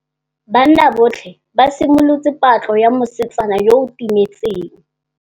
Banna botlhê ba simolotse patlô ya mosetsana yo o timetseng.